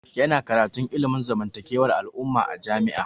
Ya na karantun ilimin zamantakewar al'umma a jami'a